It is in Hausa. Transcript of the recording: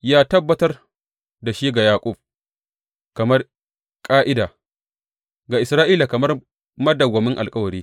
Ya tabbatar da shi ga Yaƙub kamar ƙa’ida, ga Isra’ila kamar madawwamin alkawari.